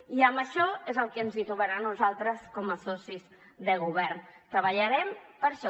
i en això és en el que ens trobaran a nosaltres com a socis de govern treballarem per això